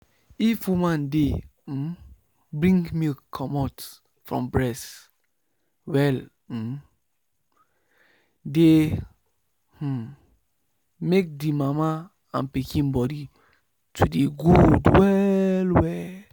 if woman dey um bring milk comot from breast well e um dey um make the mama and pikin body to dey good well well.